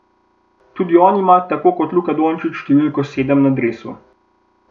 Tudi on ima tako kot Luka Dončić številko sedem na dresu.